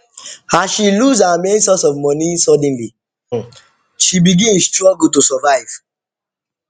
as she lose her main source of money suddenly she begin struggle to survive